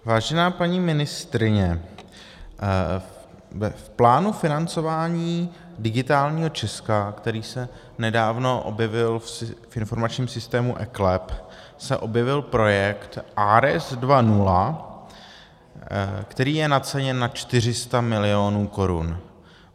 Vážená paní ministryně, v plánu financování Digitálního Česka, který se nedávno objevil v informačním systému eKLEP, se objevil projekt ARES 2.0, který je naceněn na 400 milionů korun.